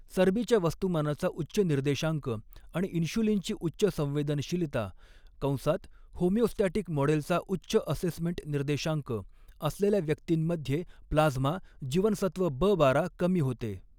चरबीच्या वस्तूमानाचा उच्च निर्देशांक आणि इन्शुलिनची उच्च संवेदनशीलता कंसात होमिओस्टॅटिक मॉडेलचा उच्च असेसमेंट निर्देशांक असलेल्या व्यक्तींमध्ये प्लाझ्मा जीवनसत्व ब बारा कमी होते.